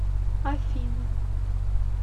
афины